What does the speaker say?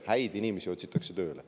Häid inimesi otsitakse tööle.